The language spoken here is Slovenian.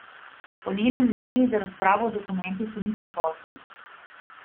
Po njenem mnenju za razpravo o dokumentu še ni prepozno.